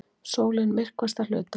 Sólin myrkvast að hluta